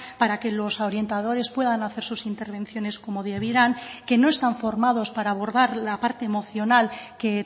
para que los orientadores puedan hacer sus intervenciones como debieran que no están formados para abordar la parte emocional que